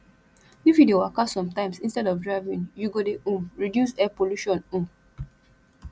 if you dey waka sometimes instead of driving you go dey um reduce air polution um